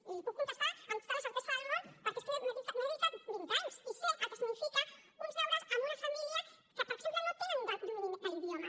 i li puc contestar amb tota la certesa del món perquè és que m’hi he dedicat vint anys i sé el que signifiquen uns deures en una família que per exemple no tenen domini de l’idioma